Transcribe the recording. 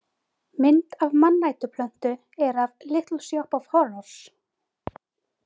Mynd af mannætuplöntu er af Little shop of horrors.